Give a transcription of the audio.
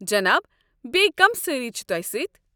جناب، بیٚیہِ كم سٲری چھِ توہہِ سٕتۍ؟